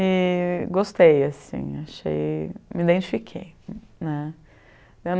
E gostei, assim, achei... me identifiquei, né?